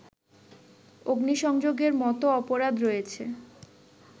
অগ্নিসংযোগের মতো অপরাধ রয়েছে